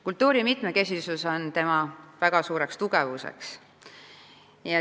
Kultuuri mitmekesisus on meie kultuuri väga tugev külg.